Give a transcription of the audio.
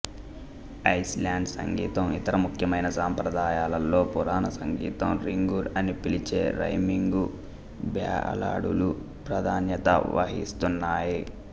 Iceland సంగీతం ఇతర ముఖ్యమైన సంప్రదాయాలలో పురాణ సంగీతం రింగుర్ అని పిలిచే రైమింగు బ్యాలడులు ప్రాధాన్యత వహిస్తున్నాయి